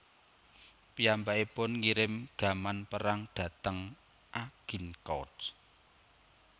Piyambakipun ngirim gaman perang dhateng Agincourt